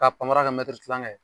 Ka panpara kɛ mɛtiri tilankɛ